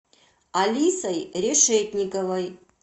алисой решетниковой